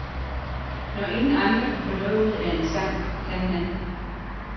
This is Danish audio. Når ingen andre kan få noget ud af en sang, kan han.